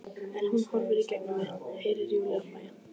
En hún horfir í gegnum mig- Heyri Júlíu hlæja.